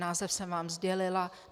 Název jsem vám sdělila.